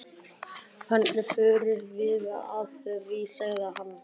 Hvernig förum við að því? sagði hann.